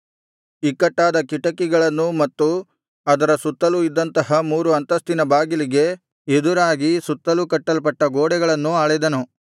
ಅವನು ಬಾಗಿಲುಗಳ ಕಂಬಗಳನ್ನೂ ಇಕ್ಕಟ್ಟಾದ ಕಿಟಕಿಗಳನ್ನೂ ಮತ್ತು ಅದರ ಸುತ್ತಲೂ ಇದ್ದಂತಹ ಮೂರು ಅಂತಸ್ತಿನ ಬಾಗಿಲಿಗೆ ಎದುರಾಗಿ ಸುತ್ತಲೂ ಕಟ್ಟಲ್ಪಟ್ಟ ಗೋಡೆಗಳನ್ನೂ ಅಳೆದನು